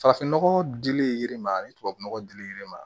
Farafin nɔgɔ dilen i ma ani tubabu nɔgɔ dilen ma